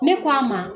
Ne k'a ma